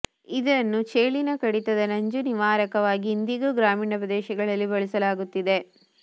ಇದನ್ನು ಚೇಳಿನ ಕಡಿತದ ನಂಜು ನಿವಾರಕವಾಗಿ ಇಂದಿಗೂ ಗ್ರಾಮೀಣ ಪ್ರದೇಶಗಳಲ್ಲಿ ಬಳಸಲಾಗುತ್ತಿದೆ